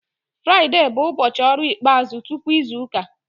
Fraịde bụ ụbọchị ọrụ ikpeazụ tupu izu ụka